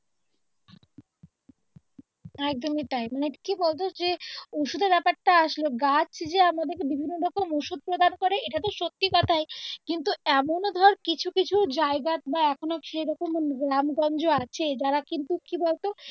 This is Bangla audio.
একদম কি তাই মানে কি বলতো যে ঔষধের ব্যাপারটা আসলো গাছ যে আমাদের কে বিভিন্ন রকমের ঔষধ প্রদান করে এটাতো সত্যি কথাই কিন্তু এমন ধর কিছু কিছু জায়গা বা এখনো সেরকম গ্রাম গঞ্জ আছে যারা কিন্তু কি বলতো